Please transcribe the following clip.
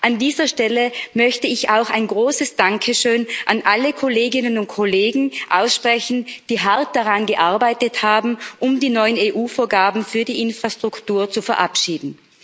An dieser Stelle möchte ich auch ein großes Dankeschön an alle Kolleginnen und Kollegen aussprechen, die hart daran gearbeitet haben, die neuen EU Vorgaben für die Infrastruktur zu verabschieden.